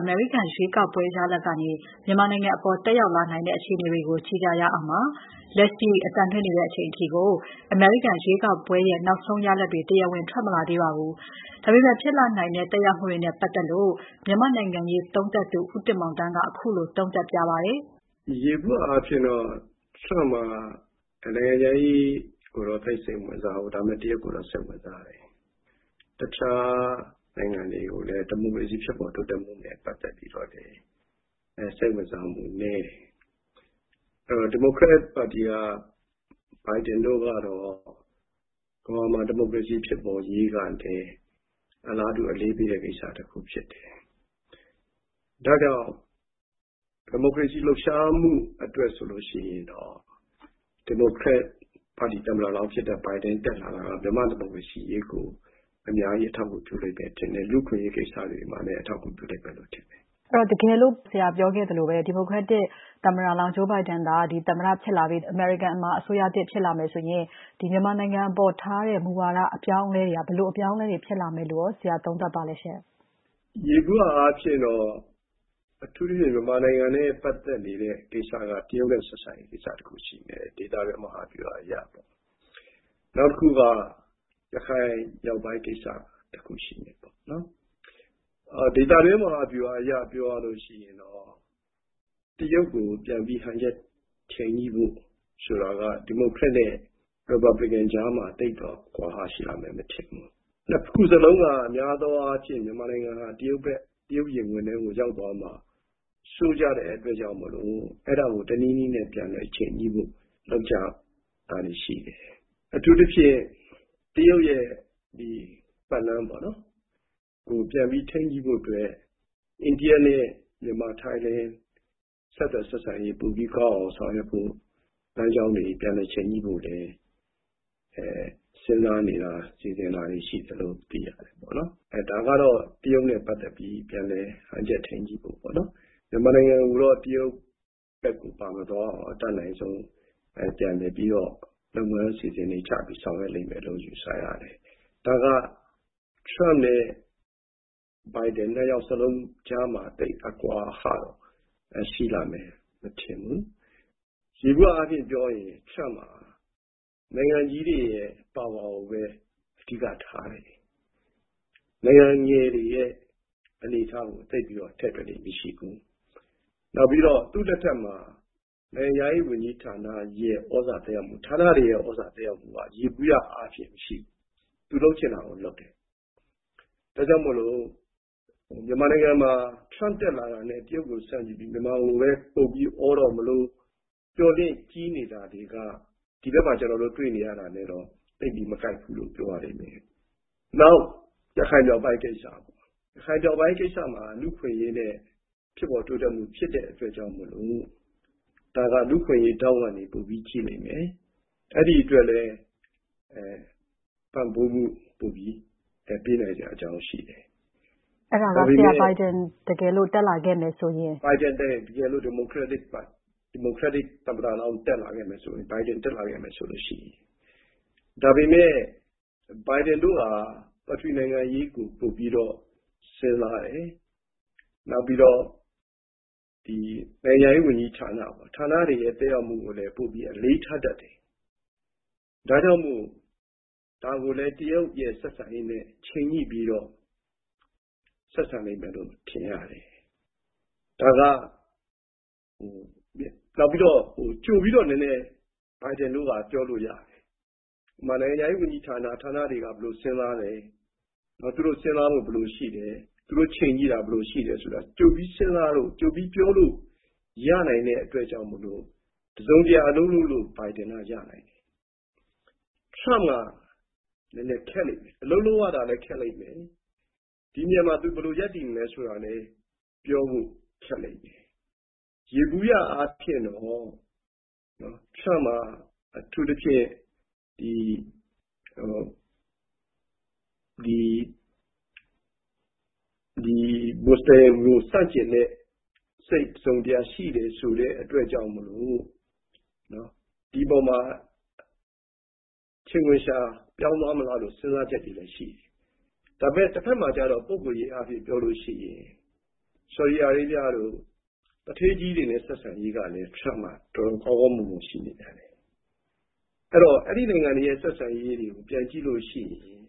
အမေရိကန်ရွေးကောက်ပွဲရလဒ်ကနေ မြန်မာနိုင်ငံအပေါ် သက်ရောက်လာနိုင်တဲ့အခြေအနေတွေကို ကြည့်ရအောင်ပါ။ လက်ရှိအသံလွှင့်နေချိန်အထိ အမေရိကန် ရွေးကောက်ပွဲရဲ့ နောက်ဆုံးရလဒ်တွေ တရားဝင်ထွက်မလာသေးပါဘူး။ ဒါပေမဲ့ ဖြစ်လာနိုင်တဲ့သက်ရောက်မှုတွေနဲ့ပတ်သက်လို့ မြန်မာ့နိုင်ငံရေးသုံးသပ်သူ ဦးတင်မောင်သန်းက ခုလိုသုံးသပ်ပြပါတယ်။ ယေဘူယျအားဖြင့်တော့ Trump က နိုင်ငံခြားရေးကိုတော့ သိပ်စိတ်မဝင်စားဘူး။ ဒါပေမဲ့ တရုတ်ကိုတော့ စိတ်ဝင်စားတယ်။ တခြားနိုင်ငံတွေကိုလည်း ဒီမိုကရေစီဖြစ်ပေါ် တိုးတက်မှုနဲ့ ပတ်သက်ပြီးတော့လည်း စိတ်ဝင်စားမှုနည်းတယ်။ အဲဒီတော့ ဒီမိုကရက်ပါတီက Biden တို့ကတော့ ကမ္ဘာမှာ ဒီမိုကရေစီဖြစ်ပေါ်ရေးကလည်း အလားတူ အရေးပေးတဲ့ ကိစ္စတခု ဖြစ်တယ်။ ဒါကြောင့် ဒီမိုကရေစီ လှုပ်ရှားမှုအတွက်ဆိုလို့ရှိရင်တော့ ဒီမိုကရက်ပါတီသမ္မတလောင်း ဖြစ်တဲ့ Biden တက်လာတာကတော့ မြန်မာ့ဒီမိုကရေစီအရေးကို အများကြီး အထောက်အကူပြုလိမ့်မယ်လို့ ထင်တယ်။ လူ့အခွင့်အရေးကိစ္စတွေမှာလည်း အထောက်အကူ ပြုလိမ့်မယ်လို့ထင်တယ်။ အဲဒီတော့ တကယ်လို့ ဆရာပြောခဲ့သလိုပဲ ဒီမိုကရက်တစ်သမ္မတလောင်း Joe Biden သာ သမ္မတဖြစ်လာပြီး အမေရိကန်မှာ အစိုးရသစ် ဖြစ်လာမယ်ဆိုရင် ဒီ မြန်မာနိုင်ငံအပေါ်ထားတဲ့ မူဝါဒ အပြောင်းအလဲတွေက ဘယ်လို အပြောင်းလဲတွေ ဖြစ်လာမယ်လို့ ဆရာသုံးသပ်ပါလဲရှင့်။ ယေဘူယျအားဖြင့်တော့ အထူးသဖြင့် မြန်မာနိုင်ငံနဲ့ ပတ်သက်နေတဲ့ ကိစ္စက တရုတ်နဲ့ ဆက်ဆံရေးကိစ္စတခုရှိမယ်... ဒေသတွင်း မဟာဗျူဟာအရပေါ့။ နောက်တခုက ရခိုင်မြောက်ပိုင်း ကိစ္စ တခုရှိမယ်ပေါ့။ ဒေသတွင်း မဟာဗျူဟာအရ ပြောရလို့ရှိရင်တော့ တရုတ်ကို ပြန်ပြီး ဟန်ချက် ချိန်ညှိဖို့ဆိုတာက ဒီမိုကရက်နဲ့ ရီပတ်ဘလီကန် ကြားမှာ သိပ်တော့ အကွာဟရှိလှမယ်မထင်ဘူး။ နှစ်ခုစလုံးက များသောအားဖြင့် မြန်မာနိုင်ငံဟာ တရုတ်ဘက် တရုတ်ရင်ခွင်ထဲကို ရောက်သွားမှာစိုးကျတဲ့အတွက်ကြောင့်မို့လို့ အဲဒါကို တနည်းနည်းနဲ့ ပြန်လည် ချိန်ညှိဖို့ လုပ်ကြတာတွေရှိတယ်။ အထူးသဖြင့် တရုတ်ရဲ့ ဒီ ပတ်လမ်းပေါ့နော်... ပြန်ပြီး ထိန်းညှိဖို့အတွက် အိန္ဒိယနဲ့ မြန်မာ၊ ထိုင်း ဆက်သွယ်ဆက်ဆံရေးပိုပြီးကောင်းအောင် ဆောင်ရွက်ဖို့ လမ်းကြောင်းတွေ ပြန်လည်ချိန်ညှိဖို့လည်း စဉ်းစားနေတာ၊ စီစဉ်တာတွေရှိတယ်လို့ သိရတယ်ပေါ့နော်။ ဒါကတော့ တရုတ်နဲ့ ပတ်သက်ပြီး ပြန်လည်ဟန်ချက် ထိန်းညှိဖို့ပေါ့နော်။ မြန်မာနိုင်ငံကိုတော့ တရုတ်ဘက်ကို ပါမသွားအောင် အတတ်နိုင်ဆုံး ပြန်လည်ပြီးတော့ လုပ်ငန်းအစီအစဉ်တွေ ချပြီးဆောင်ရွက်လိမ့်မယ်လို့ ယူဆရတယ်။ ဒါက Trump နဲ့ Bidem နှစ်ယောက်စလုံးကြားမှာ သိပ်အကွာအဟ ရှိလှမယ် မထင်ဘူး။ ယေဘူယျအားဖြင့် ပြောရင် Trump ဟာ နိုင်ငံကြီးတွေရဲ့ ပါဝါကိုပဲ အဓိကထားတယ်။ နိုင်ငံငယ်တွေရဲ့ အနေအထားကို သိပ်ပြီးတော့ ထည့်တွက်လေ့မရှိဘူး။ နောက်ပြီးတော့ သူ့လက်ထက်မှာ နိုင်ငံခြားရေးဝန်ကြီးဌာနရဲ့ သြဇာသက်ရောက်မှု၊ ဌာနတွေရဲ့ သြဇာသက်ရောက်မှုက ယေဘူယျအားဖြင့် မရှိဘူး။ သူလုပ်ချင်တာ လုပ်တယ်။ ဒါကြောင့်မို့လို့ မြန်မာနိုင်ငံမှာ Trump တက်လာတာနဲ့ တရုတ်ကို ဆန့်ကျင်ပြီး မြန်မာကိုပဲ ပုံပြီးအောတော့မလို မျှော်လင့်ကြီးနေတာတွေက ဒီဘက်မှာ ကျနော်တို့ တွေ့နေရတာနဲ့ သိပ်ပြီး မကိုက်ဘူးလို့ ပြောရလိမ့်မယ်။ နောက်ရခိုင်မြောက်ပိုင်းကိစ္စမှာ လူ့အခွင့်အရေးနဲ့ ဖြစ်ပေါ်တိုးတက်မှု ဖြစ်တဲ့အတွက်ကြောင့်မို့လို့ ဒါက လူ့အခွင့်အရေးထောင့်ကနေ ပိုပြီး ကြည့်လိမ့်မယ်။ အဲဒီအတွက်လည်း ပံ့ပိုးမှု ပိုပြီး ပေးနိုင်စရာ အကြောင်းရှိတယ်။ အဲဒါက ဆရာ.... တကယ်လို့ Biden တက်လာခဲ့မယ်ဆိုရင်။ Biden တက်ရင်။ တကယ်လို့ ဒီမိုကရက်တစ် သမ္မတလောင်းတက်လာခဲ့မယ်ဆိုရင်။ Biden တက်လာခဲ့မယ်ဆိုလို့ရှိရင်။ ဒါပေမဲ့ Biden တို့ဟာ ပထဝီနိုင်ငံရေးကို ပိုပြီးတော့ စဉ်းစားတယ်။ နောက်ပြီးတော့ ဒီ နိုင်ငံခြားရေးဝန်ကြီးဌာန၊ ဌာနတွေရဲ့ သက်ရောက်မှုကိုလည်း ပိုပြီး အလေးထားတတ်တယ်။ ဒါကြောင့်မို့ ဒါကိုလည်း တရုတ်ရဲ့ ဆက်ဆံရေးနဲ့ ချိန်ညှိပြီးတော့ ဆက်ဆံလိမ့်မယ်လို့ ထင်ရတယ်။ နောက်ပြီးတော့ ကြိုပြီးတော့ နည်းနည်း Biden တို့က ပြောလို့ရတယ်။ ဥပမာ နိုင်ငံခြားရေးဝန်ကြီးဌာန၊ ဌာနတွေက ဘယ်လိုစဉ်းစားတယ်၊ သူတို့ စဉ်းစားဖို့ ဘယ်လိုရှိလဲ၊ သူတို့ ချိန်ကြည့်တာ ဘယ်လိုရှိလဲဆိုတာ ကြိုပြီး စဉ်းစားလို့၊ ကြိုပြီး ပြောလို့ရနိုင်တဲ့အတွက်ကြောင့်မို့လို့ တစုံတရာ လုပ်လို့ Biden က ရနိုင်တယ်။ Trump က ခက်လိမ့်မယ်။ အလုပ်လုပ်ရတာလည်း ခက်လိမ့်မယ်၊ ဒီနေရာမှာ သူဘယ်လိုရပ်တည်မလဲဆိုတာလည်း ပြောဖို့ခက်လိမ့်မယ်။ ယေဘူယျအားဖြင့်တော့ Trump က အထူးသဖြင့် ဒီ မူဆလင်တွေကို ဆန့်ကျင်တဲ့စိတ် တစုံတရာ ရှိတယ်ဆိုတဲ့အတွက်ကြောင့်မို့လို့ ဒီပေါ်မှာ ချိန်ခွင်လျှာပြောင်းသွားမလားဆိုတဲ့ စဉ်းစားချက်တွေတော့ရှိတယ်။ ဒါပေမဲ့ တဘက်မှာကျတော့ ပုဂ္ဂိုလ်ရေးအားဖြင့် ပြောလို့ရှိရင် ဆော်ဒီအာရေဗျတို့ သူဌေးကြီးတွေနဲ့ ဆက်ဆံရေးကလည်း Trump က တော်တော်ကောင်းကောင်းမွန်မွန် ရှိနေပြန်တယ်။ ဆိုတော့ အဲဒီ နိုင်ငံတွေနဲ့ ဆက်ဆံရေးတွေကို ပြန်ကြည့်လို့ရှိရင်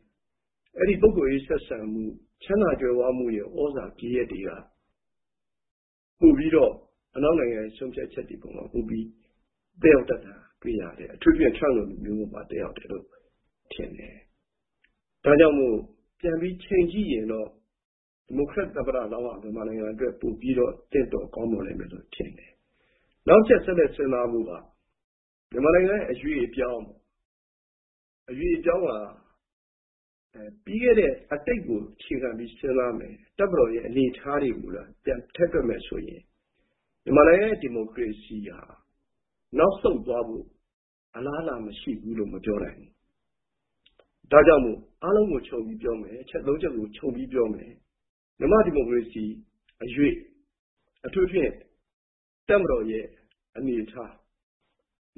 အဲဒီပုဂ္ဂိုလ်ရေး ဆက်ဆံမှု၊ ချမ်းသာ ကြွယ်ဝမှုရဲ့ သြဇာဂယက်တွေက ပိုပြီးတော့ အနောက်နိုင်ငံဆုံးဖြတ်ချက်တွေပေါ်မှာ သက်ရောက်တတ်တာ တွေ့ရတယ်။ အထူးသဖြင့် Trump လို လူမျိုးပေါ်မှာ သက်ရောက်တယ်လို့ ထင်တယ်။ ဒါကြောင့်မို့လို့ ပြန်ပြီး ချိန်ကြည့်ရင်တော့ ဒီမိုကရက်သမ္မတလောင်းက မြန်မာနိုင်ငံအတွက် ပိုပြီးတော့ သင့်တော်ကောင်းမွန်လိမ့်မယ်လို့ ထင်တယ်။ နောက်တချက် ဆက်နွယ် စဉ်းစားဖို့က မြန်မာနိုင်ငံရဲ့ အရွေ့အပြောင်းဟာ ပြီးခဲ့တဲ့ အတိတ်ကို အခြေခံပြီး စဉ်းစားမယ်၊ တပ်မတော်ရဲ့ အနေအထားတွေကိုသာ ပြန်ထည့်တွက်မယ်ဆိုရင် မြန်မာနိုင်ငံရဲ့ ဒီမိုကရေစီဟာ နောက်ဆုတ်သွားဖို့ အလားအလာမရှိဘူးလို့ မပြောနိုင်ဘူး။ ဒါကြောင့်မို့ အားလုံးကို ခြုံပြီးပြောမယ်၊ အချက် သုံးချက်ကို ခြုံပြီး ပြောမယ်။ မြန်မာ့ ဒီမိုကရေစီ အရွေ့ အထူးသဖြင့် တပ်မတော်ရဲ့ အနေအထား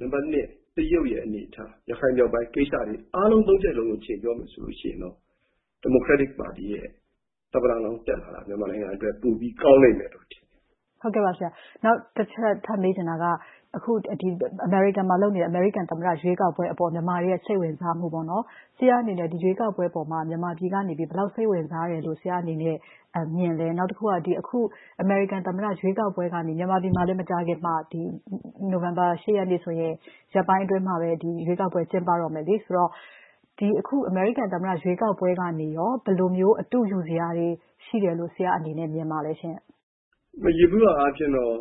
၊ နံပတ် နှစ် တရုတ်ရဲ့ အနေအထား၊ ရခိုင်မြောက်ပိုင်းကိစ္စတွေ အားလုံး သုံးချက်လုံး ချိန်ပြောမယ်ဆိုလို့ ရှိရင်တော့ ဒီမိုကရက်တစ်ပါတီရဲ့ သမ္မတလောင်းတက်လာတာ မြန်မာနိုင်ငံအတွက် ပိုပြီး ကောင်းလိမ့်မယ်လို့ ထင်တယ်။ ဟုတ်ကဲ့ပါ ဆရာ။ နောက်တချက် ထပ်မေးချင်တာက အခု အမေရိကန်မှာ လုပ်နေတဲ့ အမေရိကန် သမ္မတရွေးကောက်ပွဲအပေါ် မြန်မာတွေရဲ့ စိတ်ဝင်စားမှုပေါ့နော်... ဆရာ့အနေနဲ့ ဒီရွေးကောက်ပွဲပေါ်မှာ မြန်မာပြည်ကနေပြီး ဘယ်လောက် စိတ်ဝင်စားတယ်လို့ ဆရာ့အနေနဲ့ မြင်လဲ။ နောက်တခုက အခု ဒီ အမေရိကန်သမ္မတရွေးကောက်ပွဲကနေ မြန်မာပြည်မှာလည်း မကြာခင်မှာ နိုဝင်ဘာ ၈ ရက်နေ့ဆိုရင် ရက်ပိုင်းအတွင်းမှာပဲ ဒီ ရွေးကောက်ပွဲ ကျင်းပတော့မယ်လေ။ ဆိုတော့ အခု ဒီအမေရိကန်သမ္မတရွေးကောက်ပွဲကနေရော ဘယ်လိုမျိုးအတုယူစရာတွေ ရှိတယ်လို့ ဆရာ့အနေနဲ့ မြင်ပါလဲရှင့်။ ယေဘူယျအားဖြင့်တော့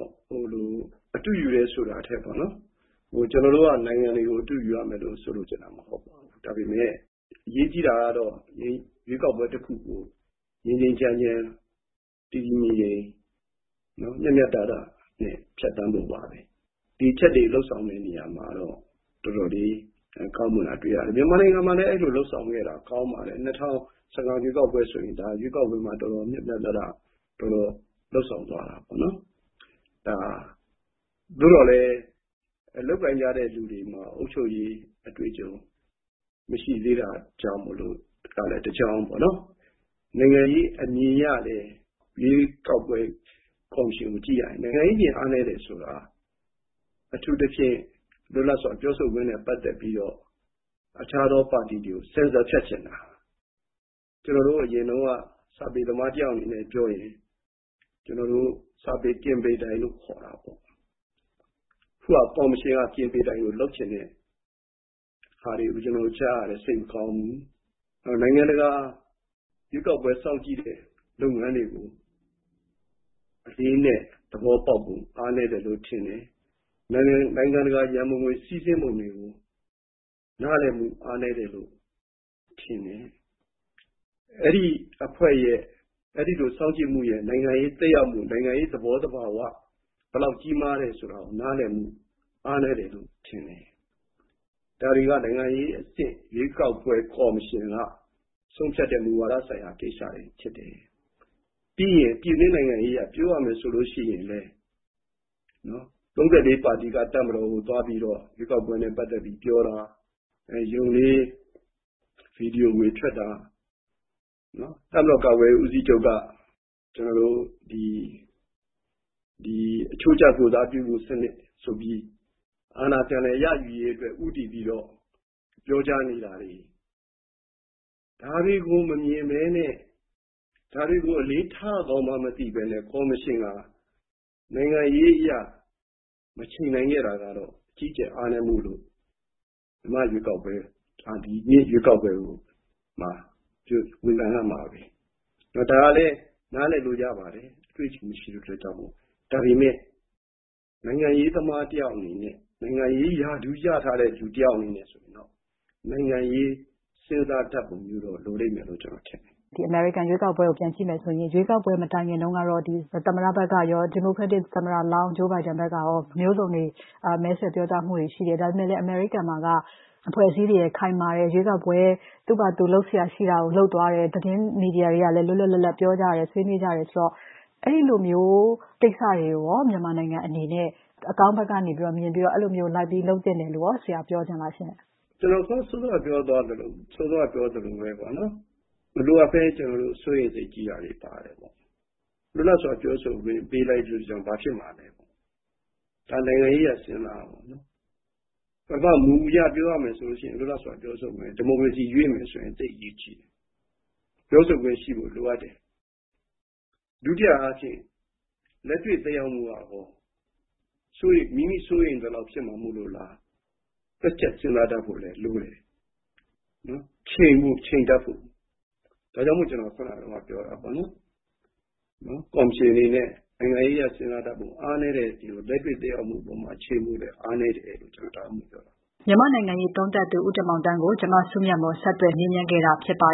အတုယူစရာထက်ပေါ့နော်... ကျနော်တို့က နိုင်ငံတွေကို အတုယူရမယ်လို့ ဆိုလိုချင်တာမဟုတ်ပါဘူး။ ဒါပေမဲ့ အရေးကြီးတာကတော့ ရွေးကောက်ပွဲ တခုကို ငြိမ်းငြိမ်းချမ်းချမ်း၊ တည်တည်ငြိမ်ငြိမ်၊ မျှမျှတတနဲ့ ဖြတ်သန်းဖို့ပါပဲ။ ဒီအချက်တွေ လုပ်ဆောင်တဲ့ နေရာမှာတော့ တော်တော်လေးကောင်းမွန်တာ တွေ့ရတယ်။ မြန်မာနိုင်ငံမှာလည်း အဲဒီလို လုပ်ဆောင်ခဲ့တာ ကောင်းပါတယ်။ ၂၀၁၅ ရွေးကောက်ပွဲဆိုရင် ရွေးကောက်ပွဲမှာ တော်တော် မျှမျှတတ တော်တော်လုပ်ဆောင်သွားတာနော်။ သို့သော်လည်း လုပ်ကိုင်ကြတဲ့ လူတွေမှာ အုပ်ချုပ်ရေးအတွေ့အကြုံမရှိသေးတာကြောင့်မို့လို့ကလည်း တကြောင်းပေါ့နော်၊ နိုင်ငံရေးအမြင်အရလည်း ရွေးကောက်ပွဲ ကော်မရှင်ကို ကြည့်ရရင် နိုင်ငံရေးအမြင် အားနည်းတယ်ဆိုတာ အထူးသဖြင့် လွတ်လပ်စွာ ပြောဆိုခွင့်နဲ့ ပတ်သက်ပြီးတော့ အခြားသော ပါတီကို ဆင်ဆာ ဖြတ်ချင်တာ။ ကျနော်တို့ အရင်တုန်းက စာပေသမားတယောက်အနေနဲ့ ပြောရင် စာပေ ကင်ပေတိုင်လို့ခေါ်တာပေါ့။ အခုဟာက ကော်မရှင်က ကင်ပေတိုင်လို လုပ်ချင်တဲ့ဟာတွေကို ကျနော်တို့ ကြားရတယ်။ စိတ်မကောင်းဘူး။ နိုင်ငံတကာရွေးကောက်ပွဲ စောင့်ကြည့်တဲ့ လုပ်ငန်းတွေကို အလေးအနက် သဘောပေါက်ဖို့ အားနည်းတယ်လို့ ထင်တယ်။ နိုင်ငံတကာ ရန်ပုံငွေ စီးဆင်းပုံတွေကို နားလည်မှုအားနည်းတယ်လို့ ထင်တယ်။ အဲဒီအဖွဲ့ရဲ့ အဲဒီလို စောင့်ကြည့်မှုရဲ့ နိုင်ငံရေးသက်ရောက်မှု၊ နိုင်ငံရေး သဘောသဘာဝ ဘယ်လောက်ကြီးမားတယ်ဆိုတာကို နားလည်မှု အားနည်းတယ်လို့ထင်တယ်။ ဒါတွေက နိုင်ငံရေး အဆင့် ရွေးကောက်ပွဲကော်မရှင်က ဆုံးဖြတ်တဲ့ မူဝါဒဆိုင်ရာ ကိစ္စတွေ ဖြစ်တယ်။ ပြီးရင် ပြည်တွင်းနိုင်ငံရေးက ပြောရမယ်ဆိုလို့ရှိရင်လည်း ၃၄ ပါတီက တပ်မတော်ကိုသွားပြီးတော့ ရွေးကောက်ပွဲနဲ့ ပတ်သက်ပြီးပြောတာ၊ ယုန်လေး ဗီဒီယိုခွေထွက်တာ၊ တပ်မတော်ကာကွယ်ရေး ဦးစီးချုပ်က ကျနော်တို့ ဒီအချိုးကျ ကိုယ်စားပြုဖို့စနစ်ဆိုပြီး အာဏာပြန်လည် ရယူရေးအတွက် ဦးတည်ပြီးတော့ ပြောကြားနေတာတွေ ဒါတွေကို မမြင်ဘဲနဲ့ ဒါတွေကို အလေးထားရကောင်းမှန်းမသိဘဲနဲ့ ကော်မရှင်ဟာ နိုင်ငံရေးအရ မချိန်နိုင်ခဲ့တာကတော့ အကြီးအကျယ် အားနည်းမှုလို့ မြန်မာ့ရွေးကောက်ပွဲ ဒီနှစ်ရွေးကောက်ပွဲမှာ ဝေဖန်ရမှာပဲ။ ဒါကလည်း နားလည်လို့ ရပါတယ်... အတွေ့အကြုံ မရှိတဲ့အတွက်ကြောင့်မို့။ ဒါပေမဲ့ နိုင်ငံရေးသမားတယောက်အနေနဲ့ နိုင်ငံရေး ရာထူးရထားတဲ့ လူတယောက်အနေနဲ့ ဆိုရင်တော့ နိုင်ငံရေး စဉ်းစားတတ်ပုံမျိုးတော့ လိုလိမ့်မယ်လို့ ကျနော်ထင်တယ်။ ဒီအမေရိကန်ရွေးကောက်ပွဲကို ပြန်ကြည့်မယ်ဆိုရင် ရွေးကောက်ပွဲမတိုင်ခင်တုန်းကတော့ ဒီ သမ္မတဘက်ကရော၊ ဒီမိုကရက်တစ် သမ္မတလောင်း Joe Biden ဘက်ကရော မျိုးစုံတွေ မဲဆွယ်ပြောကြားမှုတွေရှိတယ်။ ဒါပေမဲ့လည်း အမေရိကန်မှာက အဖွဲ့အစည်းတွေက ခိုင်မာတယ်။ ရွေးကောက်ပွဲ သူ့ဘာ့သူ လုပ်စရာရှိတာကို လုပ်သွားတယ်။ သတင်းမီဒီယာတွေကလည်း လွတ်လွတ်လပ်လပ် ပြောကြတယ်၊ ဆွေးနွေးကြတယ်ဆိုတော့ အဲဒီလိုမျိုးကိစ္စတွေကိုရော မြန်မာနိုင်ငံအနေနဲ့ အကောင်းဘက်ကနေ မြင်ပြီးတော့ အဲဒီလိုမျိုး လိုက်ပြီး လုပ်သင့်တယ်လို့ရော ဆရာ ပြောချင်လားရှင့်။ ကျနော် စောစောက ပြောသွားသလိုပဲ မလိုအပ်ဘဲ ကျနော်တို့ စိုးရိမ်စိတ်ကြီးတာတွေ ပါတယ်ပေါ့။ လွတ်လပ်စွာ ပြောဆိုခွင့် ပေးလိုက်လို့ရှိရင် ဘာဖြစ်မှာလဲပေါ့။ ဒါနိုင်ငံရေးအရ စဉ်းစားရမှာပေါ့နော်။ ပထမ မူအရပြောရမယ်ဆိုလို့ရှိရင် လွတ်လပ်စွာ ပြောဆိုမယ်... ဒီမိုကရေစီရွေ့မယ်ဆိုရင် သိပ်အရေးကြီးတယ်။ ပြောဆိုခွင့်ရှိဖို့ လိုအပ်တယ်။ ဒုတိယအားဖြင့် လက်တွေ့သက်ရောက်မှုကရော မိမိစိုးရိမ်သလောက် ဖြစ်မှာ မို့လို့လား။ တွက်ချက်စဉ်းစားတတ်ဖို့လည်း လိုတယ် ချိန်ဖို့ ချိန်တတ်ဖို့။ ဒါကြောင့်မို့ ကျနော် ခုဏတုန်းကပြောတာပေါ့နော်... ကော်မရှင်အနေနဲ့ နိုင်ငံရေးအရ စဉ်းစားတတ်ဖို့ အားနည်းနေတယ်၊ လက်တွေ့ သက်ရောက်မှုအပေါ်မှာ အချိန်လိုတယ် အားနည်းတယ်လို့ ကျနော် ဒါကြောင့်မို့ ပြောတာ။ မြန်မာ့နိုင်ငံရေးသုံးသပ်သူ ဦးတင်မောင်သန်းကို ဗွီအိုအေမြန်မာပိုင်း သတင်းထောက် မစုမြတ်မွန်က ဆက်သွယ်မေးမြန်းခဲ့တာဖြစ်ပါ